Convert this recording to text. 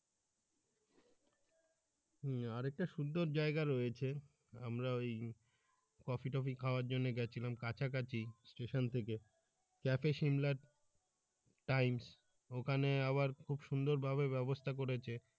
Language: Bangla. হম আর একটা সুন্দর জায়গা রয়েছে আমরা ওই কফি টফি খাওয়ার জন্য গেছিলাম কাছাকাছি স্টেশন থেকে যাক শিমলার times ওখানে আবার খুব সুন্দরভাবে ব্যাবস্থা করেছে